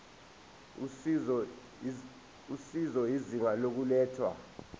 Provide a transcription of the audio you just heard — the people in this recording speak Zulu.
usizo izinga lokulethwa